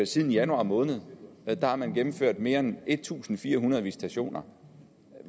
siden januar måned har man gennemført mere end en tusind fire hundrede visitationer